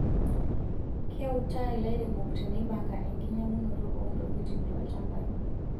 Keutaa ilairemok teneipanga enkinyiang'unoto oontokitin toolchampai.